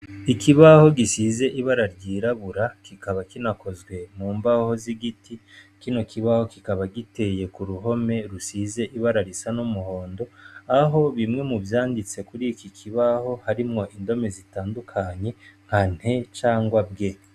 Ikibaho gisize ibara ryirabura kikaba kinakozwe mu mbaho zigiti kino kibaho kikaba giteye kuruhome rusize ibara numuhondo aho bimwe muvyanditse kuri iki kibaho harimwo indome zitandukanye nka "nt cangwa "bge ".